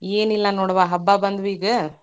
ಏನಿಲ್ಲಾ ನೋಡ್ವಾ, ಹಬ್ಬಾ ಬಂದ್ವೀಗ.